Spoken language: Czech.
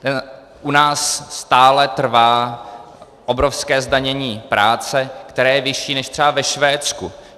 U nás stále trvá obrovské zdanění práce, které je vyšší než třeba ve Švédsku.